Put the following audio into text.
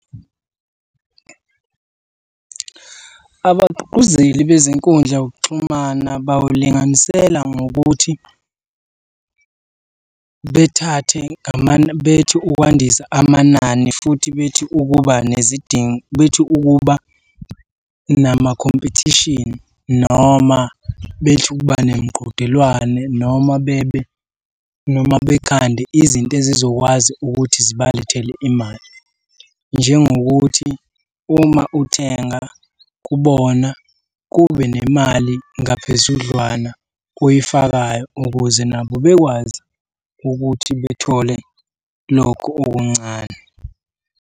Abagqugquzeli bezinkundla zokuxhumana bawulinganisela ngokuthi bethathe bethi ukwandisa amanani futhi bethi ukuba nezidingo, bethi ukuba namakhompethishini noma bethi ukuba nemiqhudelwano, noma bebe, noma bekhande izinto ezizokwazi ukuthi zibalethele imali. Njengokuthi uma uthenga kubona kube nemali ngaphezudlwana oyifakayo ukuze nabo bekwazi ukuthi bethole lokhu okuncane.